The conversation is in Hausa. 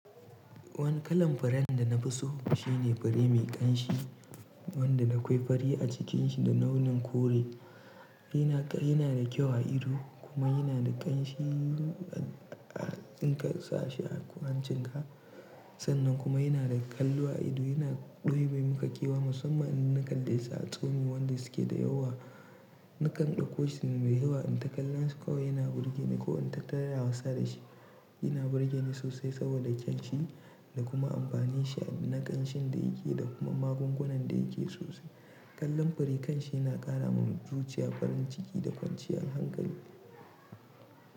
Wani kalan faren da na fi so shine fari mai ƙanshi, wanda na koyi fari a cikinsa da launin kore. Yana da kyau a ido kuma yana da ƙanshi in ka sa shi a hancinka. Sannan kuma yana da kallo a ido. Yana ɗebe maka ƙewa musamman in na kallesu sa a tsami wanda su ke da yawa. Nakan ɗakkoshi mai yawa, in ta kalla shi kawai yana burge ni ko in ta taraya wasa da shi. Yana burge ni sosai saboda ƙyanshi da kuma amfani shi na ƙanshin da yake da kuma magungunan da yake sosai. Kallon fure ƙanshi na ƙara ma mutum jujiya farin ciki da kwanciyar hankali.